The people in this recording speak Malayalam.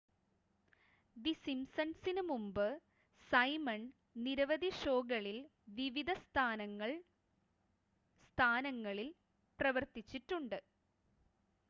ദി സിംസൺസിന് മുമ്പ് സൈമൺ നിരവധി ഷോകളിൽ വിവിധ സ്ഥാനങ്ങളിൽ പ്രവർത്തിച്ചിട്ടുണ്ട്